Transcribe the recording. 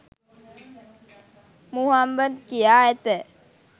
මුහම්මද් කියා ඇත.